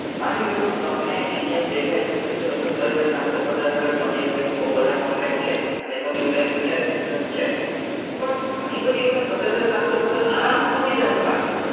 માની લ્યો કે તમને અહિયાં એવું દેખાય છે કે ચલો સત્તર હજાર પચાસ અગર તમને એવું લાગ્યું કે બાઓ બધા contract છે અને તમને એવું લાગ્યું કે આ છે પણ ગની બધી વખત સત્તર હજાર સાતસો પચાસ આરામ થી તૂટી જશે market માં